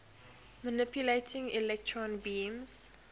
manipulating electron beams